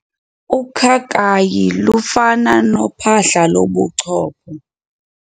Ukhakayi lufana nophahla lobuchopho.